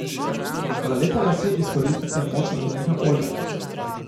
Za lepe lase izkoristite moč lanenega olja.